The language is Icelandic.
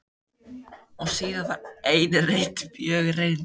Og síðan var ein reynd, mjög reynd.